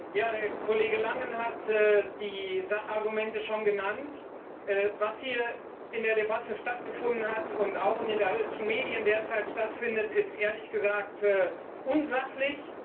Herr Präsident! Der Kollege Langen hat die Sachargumente schon genannt. Was hier in der Debatte stattgefunden hat und auch in den deutschen Medien derzeit stattfindet, ist ehrlich gesagt unsachlich.